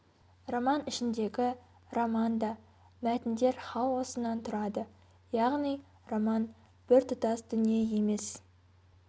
роман ішіндегі роман да мәтіндер хаосынан тұрады яғни роман біртұтас дүние емес